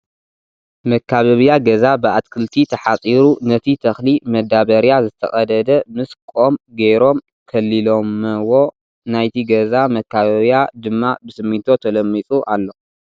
መካበቢያ ገዛ ብኣትክልቲ ተሓፂሩ ነቲ ተክሊ መዳበርያ ዝተቀደደ ምስ ቆም ጌሮም ከሊሎመዎ ናይቲ ገዛ መካበቢያ ድማ ብስሚንቶ ተለሚፁ ኣሎ ።